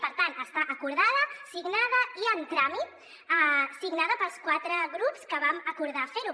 per tant està acordada signada i en tràmit signada pels quatre grups que vam acordar fer ho